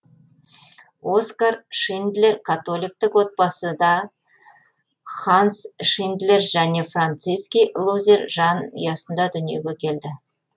оскар шиндлер католиктік отбасыда ханс шиндлер және франциски лузер жан ұясында дүниеге келді